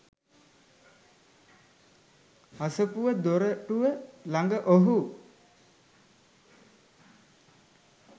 අසපුව දොරටුව ළඟ ඔහු